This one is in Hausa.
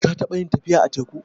Ka taɓa yin tafiya a teku?